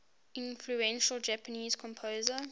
influential japanese composer